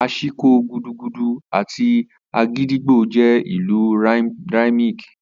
Ashiko, gudugudu, àti agidigbo jẹ́ ìlù rhythmic.